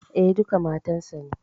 E, duka matan sa ne.